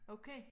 Okay